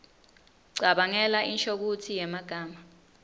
cabangela inshokutsi yemagama